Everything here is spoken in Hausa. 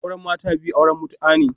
Auren mata biyu auren mutu'a ne